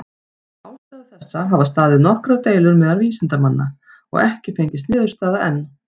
Um ástæðu þessa hafa staðið nokkrar deilur meðal vísindamanna, og ekki fengist niðurstaða enn.